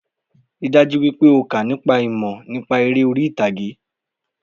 Rí i dájú wípé o kà nípa ìmọ̀ nípa eré orí ìtàgé